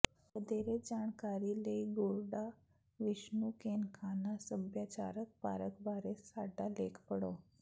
ਵਧੇਰੇ ਜਾਣਕਾਰੀ ਲਈ ਗੜੁਡਾ ਵਿਸ਼ਨੂੰ ਕੇਨਕਾਨਾ ਸੱਭਿਆਚਾਰਕ ਪਾਰਕ ਬਾਰੇ ਸਾਡਾ ਲੇਖ ਪੜ੍ਹੋ